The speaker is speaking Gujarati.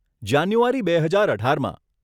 જાન્યુઆરી, બે હજાર અઢારમાં.